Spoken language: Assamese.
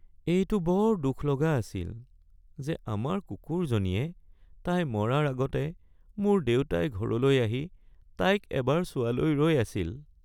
এইটো বৰ দুখ লগা আছিল যে আমাৰ কুকুৰজনীয়ে তাই মৰাৰ আগতে মোৰ দেউতাই ঘৰলৈ আহি তাইক এবাৰ চোৱালৈ ৰৈ আছিল।